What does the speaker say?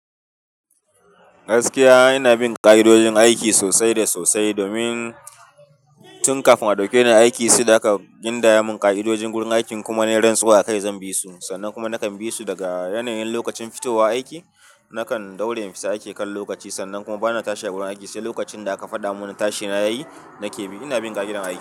Gaskiya ina bin ka'idojin aiki sosai da sosai domin tun kafin a dauke ni aiki sai da aka gindaya mun ka'idojin wurin aikin kuma na rantsuwa akai zan bi su. Sannan kuma nakan bi su daga yanayin lokacin fitowa aiki, nakan daure infita aiki kan lokaci sannan kuma bana tashi a wurin aiki sai lokacin da aka fada mun tashi na yi nake bi. Ina bin ka'idar aiki.